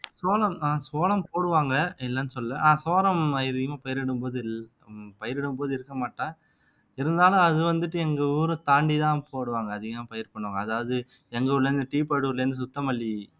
சோளம் அஹ் சோளம் போடுவாங்க இல்லைன்னு சொல்லலை அஹ் சோளம் அதிகமா பயரிடும்போது இல் உம் பயிரிடும்போது இருக்க மாட்டேன் இருந்தாலும் அது வந்துட்டு எங்க ஊரைத் தாண்டிதான் போடுவாங்க அதிகம் பயிர் பண்ணுவாங்க அதாவது எங்க ஊர்ல இருந்து இருந்து சுத்தமல்லி